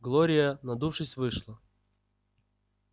глория надувшись вышла